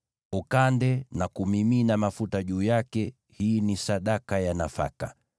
Ukande na kumimina mafuta juu yake; hii ni sadaka ya nafaka.